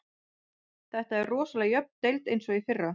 Þetta er rosalega jöfn deild eins og í fyrra.